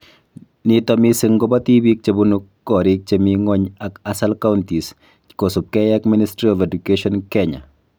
Nito missing kobo tibiik chebunu koriik chemi ng'ony ak ASAL counties kosubkei ak Ministry of Education ,Kenya